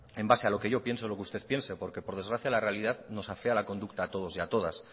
en base a lo que yo pienso o lo que usted piense porque por desgracia la realidad nos afea la conducta a todos y a todas